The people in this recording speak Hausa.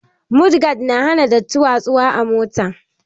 Mod gad na hana datti watsu wa a mota